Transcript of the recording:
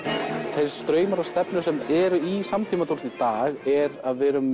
þeir straumar og stefnur sem eru í samtímatónlist í dag eru að við erum